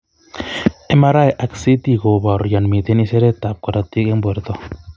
Mri ak ct koboru yon miten iseret ab korotik en orto